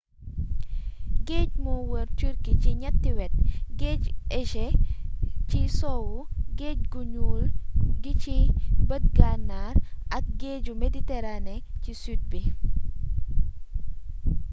géej moo wër turquie ci ñatti wet : géeju égée ci sowwu géej gu ñuul gi ci bëj gànnaar ak géeju méditerranée ci sud bi